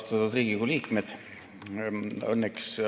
Austatud Riigikogu liikmed!